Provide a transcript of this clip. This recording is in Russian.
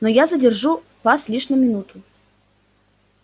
но я задержу вас лишь на минуту